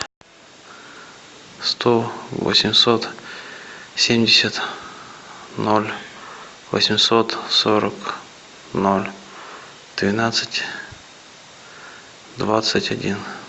сто восемьсот семьдесят ноль восемьсот сорок ноль двенадцать двадцать один